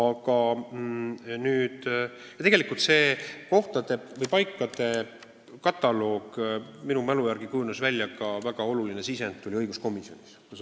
Kui ma õigesti mäletan, siis selle kohtade loetelu koostamiseks tuli oluline sisend õiguskomisjonilt.